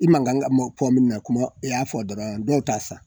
I ma kan k'a fɔ minu na ne y'a fɔ dɔrɔn dɔw t'a san